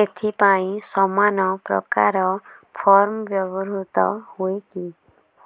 ଏଥିପାଇଁ ସମାନପ୍ରକାର ଫର୍ମ ବ୍ୟବହୃତ ହୂଏକି